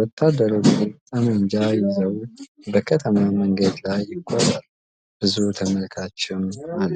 ወታደሮቹ ጠመንጃ ይዘው በከተማ መንገድ ላይ ይጓዛሉ፤ ብዙ ተመልካችም አለ።